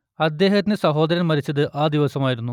അദ്ദേഹത്തിന്റെ സഹോദരൻ മരിച്ചത് ആ ദിവസമായിരുന്നു